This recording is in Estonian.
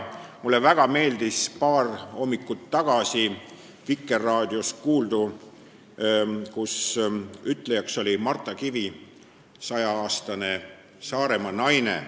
Mulle väga meeldis paar hommikut tagasi Vikerraadios kuuldu, kus intervjueeritav oli Marta Kivi, 106-aastane Saaremaa naine.